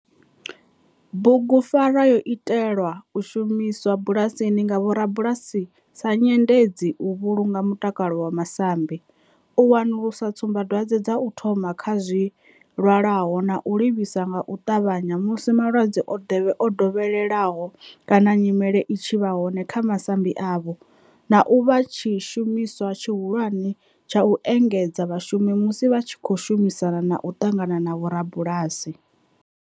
Bugu pfarwa yo itelwa u shumiswa bulasini nga vhorabulasi sa nyendedzi u vhulunga mutakalo wa masambi, u wanulusa tsumba dwadzwe dza u thoma kha zwilwalaho na u livhisa nga u tavhanya musi malwadze o dovheleaho kana nyimele i tshi vha hone kha masambi avho, na u vha tshishumiswa tshihulwane tsha u engedzedza vhashumi musi vha tshi khou shumisana na u ṱangana na vhorabulasi.